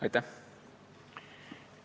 Aitäh!